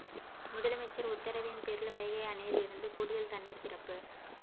முதலைமைச்சர் உத்தரவின் பேரில் வைகை அணையில் இருந்து கூடுதல் தண்ணீர் திறப்பு